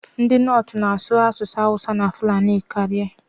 Ndị Nortu na-asụ asụsụ Awusa na Fulani karịa.